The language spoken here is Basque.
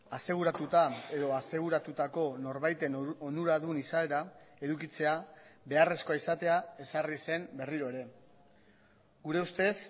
aseguratuta edo aseguratutako norbaiten onuradun izaera edukitzea beharrezkoa izatea ezarri zen berriro ere gure ustez